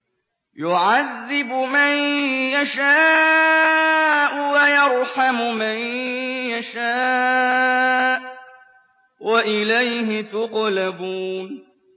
يُعَذِّبُ مَن يَشَاءُ وَيَرْحَمُ مَن يَشَاءُ ۖ وَإِلَيْهِ تُقْلَبُونَ